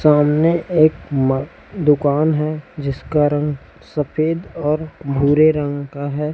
सामने एक मा दुकान है जिसका रंग सफेद और भूरे रंग का है।